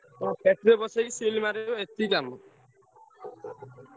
ତାକୁ ପେଟି ରେ ପସେଇ seal କରିବ ଏତିକି କାମ।